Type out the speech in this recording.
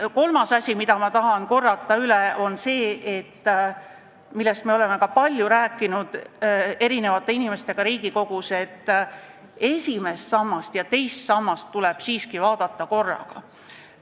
Kolmas asi, mida ma tahan korrata, on see, millest me oleme palju rääkinud eri inimestega Riigikogus, et esimest ja teist sammast tuleb siiski vaadata korraga.